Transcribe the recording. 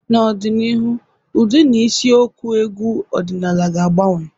N'ọdịnihu, ụdị na isi okwu egwu ọdịnala ga-agbanwe.